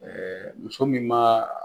muso min ma